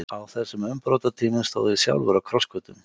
Á þessum umbrotatímum stóð ég sjálfur á krossgötum.